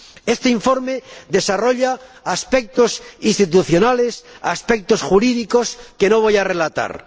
Este informe desarrolla aspectos institucionales y jurídicos que no voy a relatar.